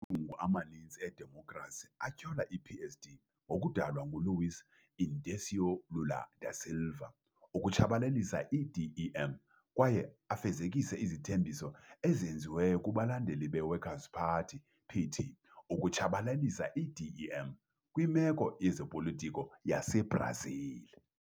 Amalungu amaninzi eDemokhrasi atyhola i-PSD ngokudalwa nguLuiz Inácio Lula da Silva ukutshabalalisa i-DEM kwaye afezekise izithembiso ezenziwe kubalandeli be-Workers 'Party, PT, "ukutshabalalisa i-DEM kwimeko yezopolitiko yaseBrazil".